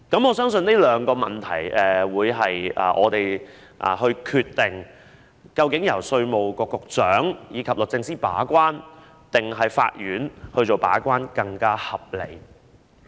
我相信這兩個問題是我們決定究竟由稅務局局長及律政司把關，還是由法院把關會更為合理？